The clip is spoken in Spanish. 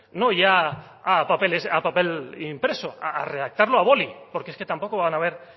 no ya a papeles a papel impreso a redactarlo a boli porque es que tampoco van a ver